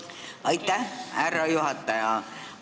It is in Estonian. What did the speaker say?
Aitäh, härra juhataja!